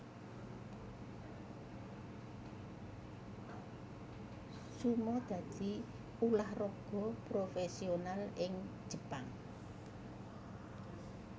Sumo dadi ulah raga profésional ing Jepang